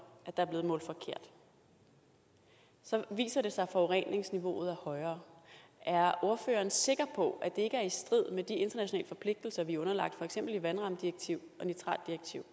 at der er blevet målt forkert så viser det sig at forureningsniveauet højere er ordføreren sikker på at det ikke er i strid med de internationale forpligtelser vi er underlagt for eksempel i vandrammedirektiv og nitratdirektiv